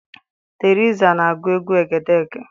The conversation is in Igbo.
Teriza na-agụ egwu egedege.